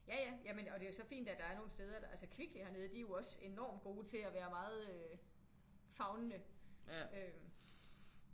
Ja ja jamen og det er jo så fint at der er nogle steder altså Kvickly hernede de er jo også enormt gode til at være meget øh favnende